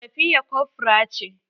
Safiya kofra ce.